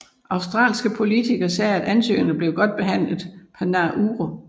Australske politikere sagde at ansøgerne blev godt behandlet på Nauru